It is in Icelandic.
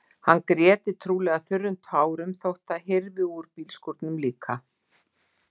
Hann gréti trúlega þurrum tárum þó að það hyrfi úr bílskúrnum líka.